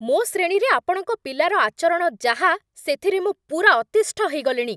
ମୋ ଶ୍ରେଣୀରେ ଆପଣଙ୍କ ପିଲାର ଆଚରଣ ଯାହା, ସେଥିରେ ମୁଁ ପୂରା ଅତିଷ୍ଠ ହେଇଗଲିଣି!